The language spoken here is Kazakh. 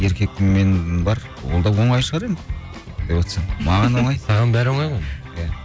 еркекпін мен бар ол да оңай шығар енді маған да оңай саған бәрі оңай ғой иә